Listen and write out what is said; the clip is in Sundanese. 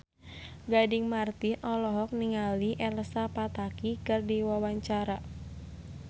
Gading Marten olohok ningali Elsa Pataky keur diwawancara